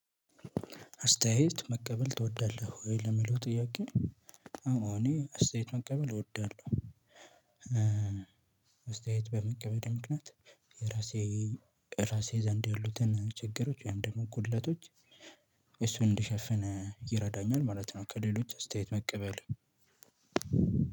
አስተያየት መቀበል ትወዳለህ ወይ ለሚለው ጥያቄ? አዎ እኔ አስተያየት መቀበል እወዳለሁ። አስተያየት በመቀበል ምክንያት የራሴ ራሴ ዘንድ ያሉትን ችግሮች ወይም ደግሞ ጉድለቶች። እሱን እንዲሸፍን ይረዳኛል ማለት ነው ከሌሎች አስተያየት መቀበል።